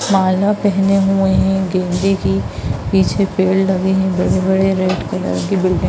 माला पहने हुए हैं गेंदे की पीछे पेड़ लगे हैं बड़े-बड़े रेड कलर की बिल्डिंग --